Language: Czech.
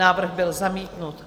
Návrh byl zamítnut.